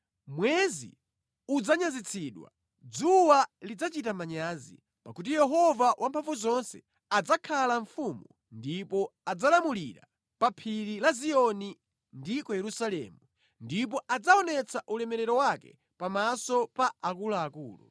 Mwezi udzanyazitsidwa, dzuwa lidzachita manyazi; pakuti Yehova Wamphamvuzonse adzakhala mfumu ndipo adzalamulira; pa Phiri la Ziyoni ndi ku Yerusalemu, ndipo adzaonetsa ulemerero wake pamaso pa akuluakulu.